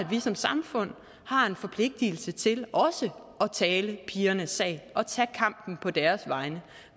vi som samfund har en forpligtelse til at tale pigernes sag og tage kampen på deres vegne